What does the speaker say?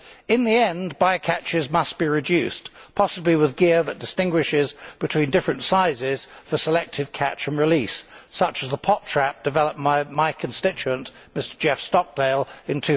In the end, by catches must be reduced, possibly with gear that distinguishes between different sizes for selective catch and release, such as the pot trap developed by my constituent Mr Jeff Stockdale in